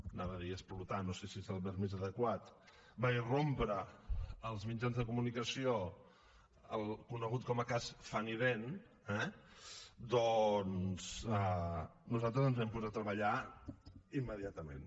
anava a dir explotar no sé si és el verb més adequat va irrompre en els mitjans de comunicació el conegut com a cas funnydent eh doncs nosaltres ens vam posar a treballar immediatament